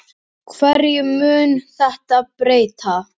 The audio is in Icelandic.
Hverju mun þetta breyta?